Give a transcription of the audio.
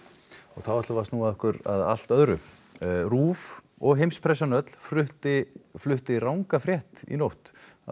þá ætlum við að snúa okkur að allt öðru RÚV og heimspressan öll flutti flutti ranga frétt í nótt af